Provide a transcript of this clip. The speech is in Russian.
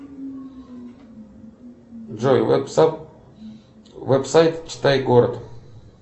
джой вебсайт читай город